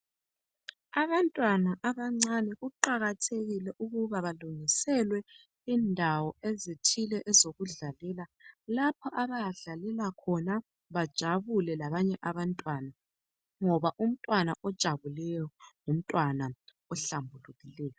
Abantwana abancane kuqathekile ukuba balungiselwe indawo ezithile ezokudlalela lapha abayadlalela khona bajabule labanye abantwana ngoba umntwana ojabulileyo ngumntwana ohlambulukileyo.